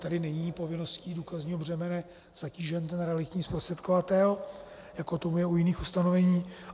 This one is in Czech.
Tady není povinností důkazního břemene zatížen ten realitní zprostředkovatel, jako tomu je u jiných ustanovení.